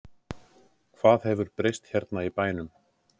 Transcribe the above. Hvað hefur breyst hérna í bænum?